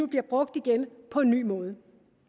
bliver brugt igen på en ny måde